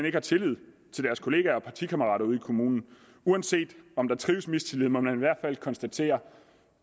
ikke har tillid til deres kollegaer og partikammerater ude i kommunerne uanset om der trives mistillid må man i hvert fald konstatere